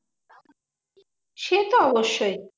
সেতো অবশ্যই।